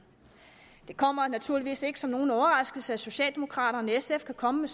det kommer naturligvis ikke som nogen overraskelse at socialdemokraterne og sf kan komme med